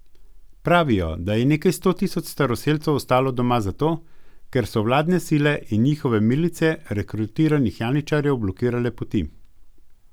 Pravijo, da je nekaj sto tisoč staroselcev ostalo doma zato, ker so vladne sile in njihove milice rekrutiranih janičarjev blokirale poti.